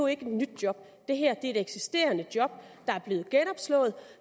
ikke et nyt job det er et eksisterende job der er blevet genopslået